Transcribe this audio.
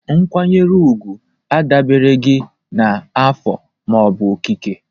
Nkwanyere ugwu adabereghị na afọ ma ọ bụ okike